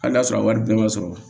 Hali n'a sɔrɔ a wari bɛɛ man sɔrɔ